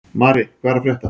Mari, hvað er að frétta?